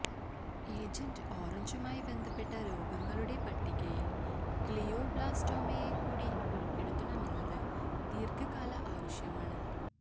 agent ഓറഞ്ചുമായി ബന്ധപ്പെട്ട രോഗങ്ങളുടെ പട്ടികയില് ഗ്ലിയോബ്ലാസ്റ്റോമയെ കൂടി ഉള്പ്പെടുത്തണമെന്നത് ദീര്ഘകാല ആവശ്യമാണ്